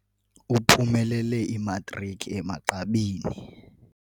Uphumelele imatriki emagqabini.